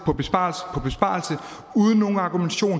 på besparelse uden nogen argumentation og